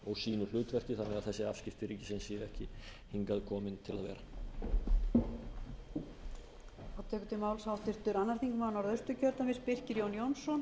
og sínu hlutverki þannig að þessi afskipti ríkisins séu ekki hingað komin til að vera helgi klárar en birkir jón fer í næsta skjal